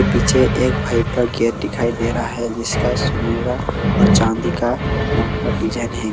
पीछे एक भाई का गेट दिखाई दे रहा है जिसका सुनहरा और चांदी का रंग का डिजाइन है।